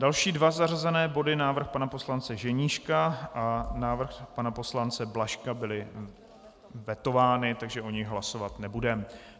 Další dva zařazené body, návrh pana poslance Ženíška a návrh pana poslance Blažka byly vetovány, takže o nich hlasovat nebudeme.